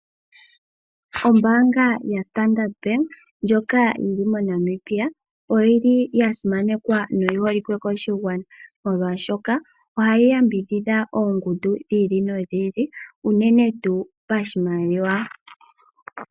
Ombaanga ya standard ndjoka yili mo Namibia oyili ya simanekwa noyi holike koshigwana molwashoka ohayi yambidhidha oongundu dhi ili nodhi ili uunene tuu pashimaliwa.